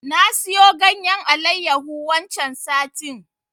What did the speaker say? Na siyo ganyen Alayyahu waccen satin.